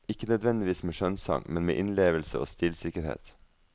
Ikke nødvendigvis med skjønnsang, men med innlevelse og stilsikkerhet.